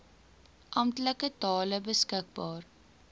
amptelike tale beskikbaar